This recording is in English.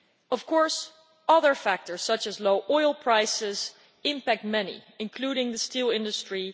Of course, other factors such as low oil prices impact many, including the steel industry.